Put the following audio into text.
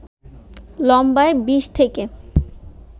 লম্বায় ২০ থেকে